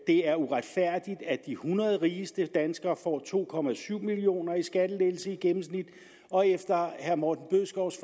er uretfærdigt at de hundrede rigeste danskere får to million kroner i skattelettelse i gennemsnit og efter herre morten bødskovs